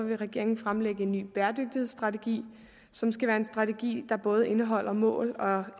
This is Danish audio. vil regeringen fremlægge en ny bæredygtighedsstrategi som skal være en strategi der både indeholder mål og